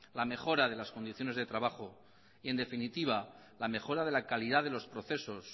la mejora de las condiciones de trabajo en definitiva la mejora de la calidad de los procesos